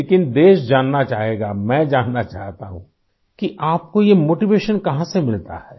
लेकिन देश जानना चाहेगा मैं जानना चाहता हूँ कि आपको ये मोटिवेशन कहाँ से मिलता है